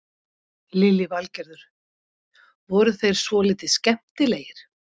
Lillý Valgerður: Voru þeir svolítið skemmtilegir?